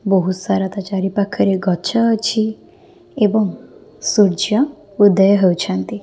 ବୋହୁତ୍ ସାରା ତା ଚାରିପାଖରେ ଗଛ ଅଛି ଏବଂ ସୂର୍ଯ୍ୟ ଉଦୟ ହୋଉଛନ୍ତି।